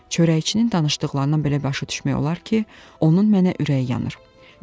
Çörəkçinin danışdıqlarından belə başa düşmək olar ki, onun mənə ürəyi yanır.